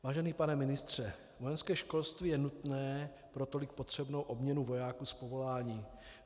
Vážený pane ministře, vojenské školství je nutné pro tolik potřebnou obměnu vojáků z povolání.